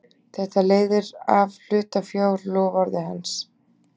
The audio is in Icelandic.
Þetta leiðir af hlutafjárloforði hans.